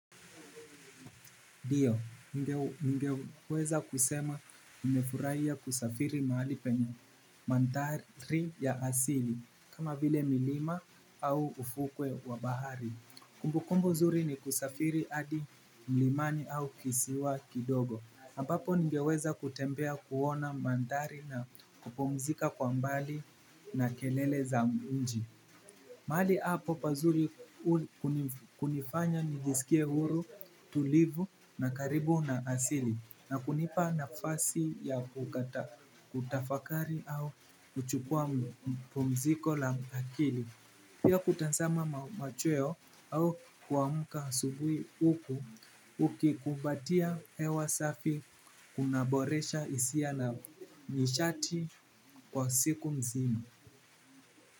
Ndio, ningeweza kusema nimefurahia kusafiri mahali penya maandhari ya asili kama vile milima au ufukwe wa bahari. Kumbukumbu zuri ni kusafiri hadi mlimani au kisiwa kidogo ambapo ningeweza kutembea kuona maandhari na kupumzika kwa mbali na kelele za mji. Mahali hapo pazuri kunifanya nijisikie huru tulivu na karibu na asili na kunipa nafasi ya kutafakari au uchukua pumziko la akili. Pia kutazama machweo au kuamuka asubuhi huku ukikumbatia hewa safi kunaboresha hisia na nishati kwa siku mzima.